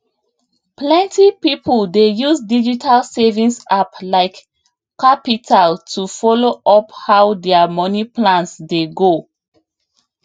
plenty people dey use digital savings app like qapital to follow up how their money plans dey go